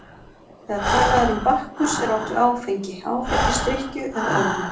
Þegar talað er um Bakkus er átt við áfengi, áfengisdrykkju eða ölvun.